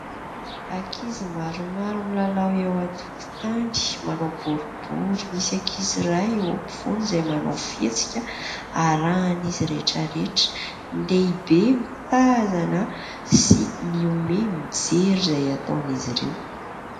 Ankizy maromaro milalao eo an-tokotany manao boribory, misy ankizy ray eo ampovoany izay manao fihetsika arahan'izy rehetrarehetra ; ny lehibe mitazana sy mihomehy mijery izay ataony'izy ireo.